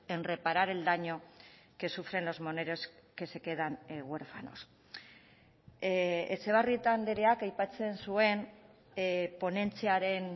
en reparar el daño que sufren los menores que se quedan huérfanos etxebarrieta andreak aipatzen zuen ponentziaren